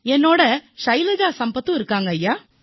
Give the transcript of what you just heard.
என்னுடன் ஷைலஜா சம்பத் இருக்கிறார்